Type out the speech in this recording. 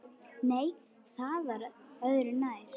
Nei, það var öðru nær!